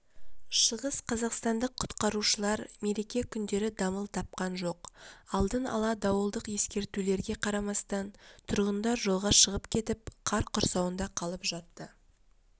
шығыс қазақстандық құтқарушылар мереке күндері дамыл тапқан жоқ алдын ала дауылдық ескертулерге қарамастан тұрғындар жолға шығып кетіп қар құрсауында қалып жатты